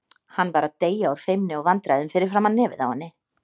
Hann var að deyja úr feimni og vandræðum fyrir framan nefið á henni.